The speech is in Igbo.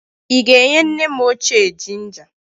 Ị ga-enye nne m ochie jinja?